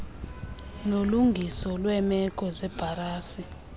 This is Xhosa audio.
nolungiso lweemeko zebhasari